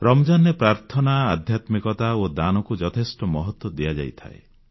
ରମଜାନରେ ପ୍ରାର୍ଥନା ଆଧ୍ୟାତ୍ମିକତା ଓ ଦାନକୁ ଯଥେଷ୍ଟ ମହତ୍ୱ ଦିଆଯାଇଥାଏ